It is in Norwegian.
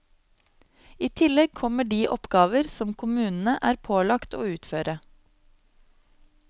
I tillegg kommer de oppgaver som kommunene er pålagt å utføre.